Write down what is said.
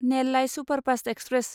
Nellai superfast express